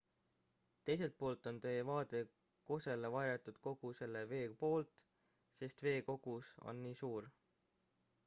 teiselt poolt on teie vaade kosele varjatud kogu selle vee poolt sest vee kogus on nii suur